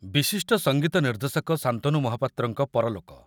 ବିଶିଷ୍ଟ ସଙ୍ଗୀତ ନିର୍ଦ୍ଦେଶକ ଶାନ୍ତନୁ ମହାପାତ୍ରଙ୍କ ପରଲୋକ।